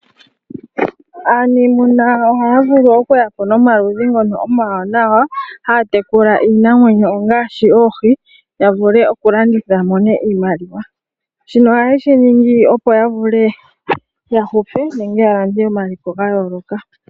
Aaniimuna ohaya vulu okuya po nomikalo omiwanawa dhokutekula iinamwenyo ngaashi oohi ya vule okulanditha ya mone iimaliwa. Shino ohayeshi ningi opo ya vule ya hupe nenge ya lande omaliko gayooloka.